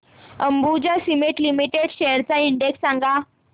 Ambuja Cement Limited shares चा index सांगा